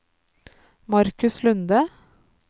Marcus Lunde